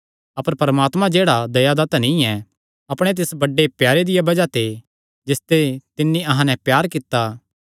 अपर परमात्मा जेह्ड़ा दया दा धनी ऐ अपणे तिस बड्डे प्यारे दिया बज़ाह ते जिसते तिन्नी अहां नैं प्यार कित्ता